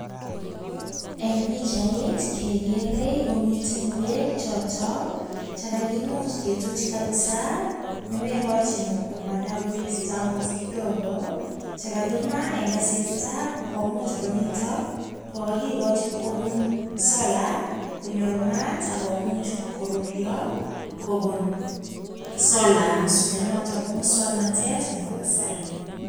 En pichait kegerei komiten ngwek choto che kagimuch ketuch kabisa, ne moigochin komanda koristo agot kidogo che kagima en asista komuch konito kogokichu kobun solar konyor maat ak komuch koruryo kobun solar ne noto ko moswoknotet nebo kasari.